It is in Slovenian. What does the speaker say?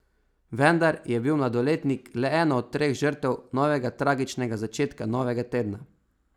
Vendar je bil mladoletnik le ena od treh žrtev novega tragičnega začetka novega tedna.